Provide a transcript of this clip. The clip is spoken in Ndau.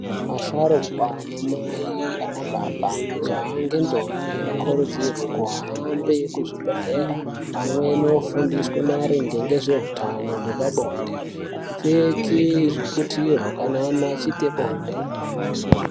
Asharukwa, anamai , anababa, majaya nendombi tinokurudzirwe kuhambe kuzvibhedhlera vamweni vofundiswe maringe ngezvehutano hwepabonde kupfeke zviputiro kana antu achiite bonde.